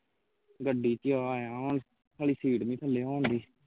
ਗੱਡੀ ਚੋਂ ਆਇਆ ਵਾਂ ਹੁਣ ਸਾਲੀ seat ਨਹੀ ਥੱਲੇ ਹੋਣ ਡਈ